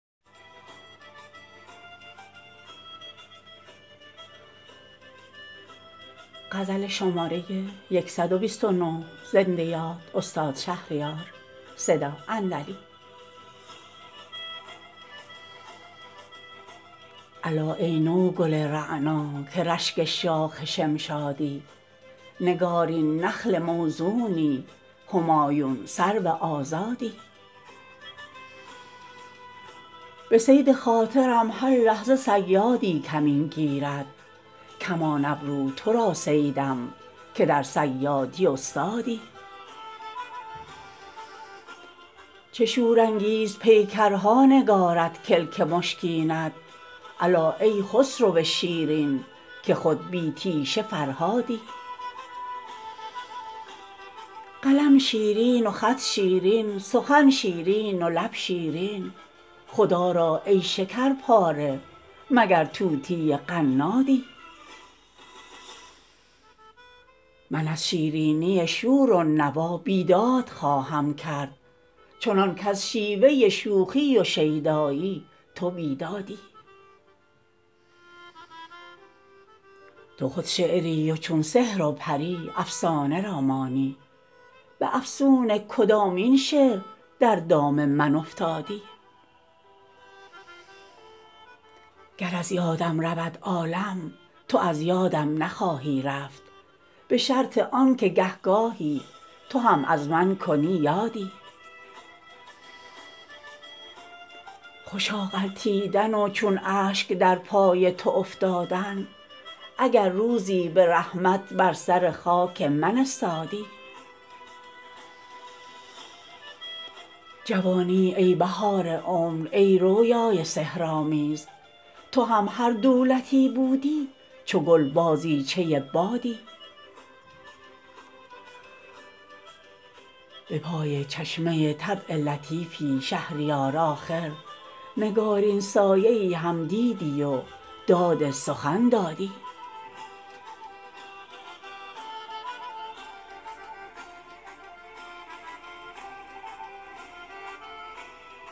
الا ای نوگل رعنا که رشک شاخ شمشادی نگارین نخل موزونی همایون سرو آزادی عروس بخت ما را ماه در آیینه می رقصد که شمع حجله می خندد به روی چون تو دامادی من این پیرانه سر تاجی که دارم با تو خواهم داد که از بخت جوان با دولت طبع خدادادی به صید خاطرم هر لحظه صیادی کمین گیرد کمان ابرو تو را صیدم که در صیادی استادی چه شورانگیز پیکرها نگارد کلک مشکینت الا ای خسرو شیرین که خود بی تیشه فرهادی قلم شیرین و خط شیرین سخن شیرین و لب شیرین خدا را ای شکر پاره مگر طوطی قنادی عروس ماه شاید چون تویی شیرین پسر زاید مگر پرورده دامان حوری یا پریزادی من از شیرینی شور و نوا بیداد خواهم کرد چنان کز شیوه شوخی و شیدایی تو بیدادی تو خود شعری و چون سحر و پری افسانه را مانی به افسون کدامین شعر در دام من افتادی گر از یادم رود عالم تو از یادم نخواهی رفت به شرط آن که گه گاهی تو هم از من کنی یادی خوشا غلطیدن و چون اشک در پای تو افتادن اگر روزی به رحمت بر سر خاک من استادی جوانی ای بهار عمر ای رویای سحرآمیز تو هم هر دولتی بودی چو گل بازیچه بادی به پای چشمه طبع لطیفی شهریار آخر نگارین سایه ای هم دیدی و داد سخن دادی